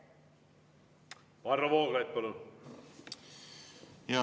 Varro Vooglaid, palun!